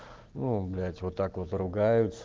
ну блять вот так вот ругаются